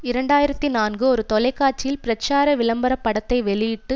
இரண்டு ஆயிரத்தி நான்கு ஒரு தொலைக்காட்சியில் பிரச்சார விளம்பர படத்தை வெளியிட்டு